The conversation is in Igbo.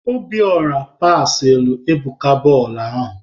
Obiora pasịalụ Ebuka bọọlụ ahụ!